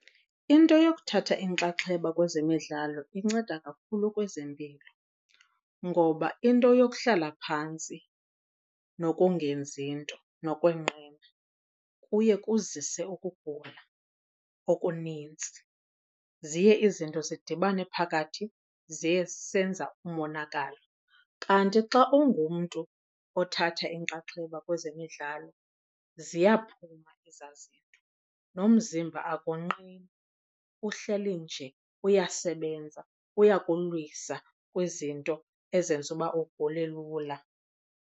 Into yokuthatha inxaxheba kwezemidlalo inceda kakhulu kwezempilo, ngoba into yokuhlala phantsi nokungenzi nto nokwenqena kuye kuzise ukugula okunintsi, ziye izinto zidibane phakathi ziye zisenza umonakalo. Kanti xa ungumntu othatha inxaxheba kwezemidlalo ziyaphuma ezaa zinto nomzimba akonqeni, uhleli nje uyasebenza uyakulwisa kwizinto ezenza uba ugule lula.